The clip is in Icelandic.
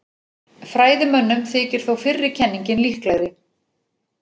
Fræðimönnum þykir þó fyrri kenningin líklegri.